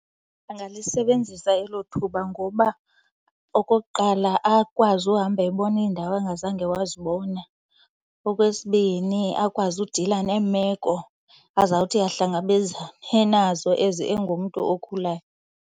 Angalisebenzisa elo thuba ngoba okokuqala, akwazi uhamba ebona iindawo angazange wazibona. Okwesibini, akwazi udila neemeko azawuthi ahlangabezane nazo as engumntu okhulayo.